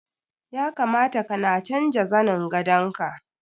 Ya kamata kana canja zanin gandaon ka.